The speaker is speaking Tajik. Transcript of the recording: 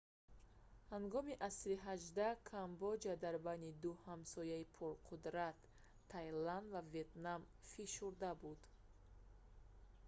ҳангоми асри xviii камбоҷа дар байни ду ҳамсояи пурқудрат тайланд ва ветнам фишурда буд